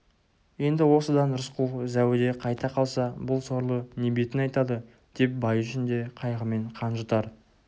енді осыдан рысқұл зәуіде қайта қалса бұл сорлы не бетін айтады деп байы үшін де қайғымен қан жұтар